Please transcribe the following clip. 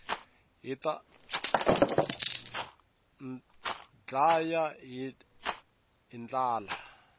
hita ndlaya hi ndlala